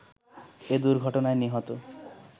এ দুর্ঘটনায় নিহত